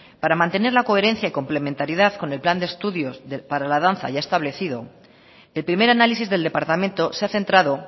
para mantener la coherencia y complementariedad con el plan de estudios para la danza ya establecido el primer análisis del departamento se ha centrado